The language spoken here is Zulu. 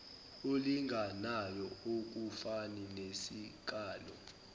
olinganayo akufani nesikalo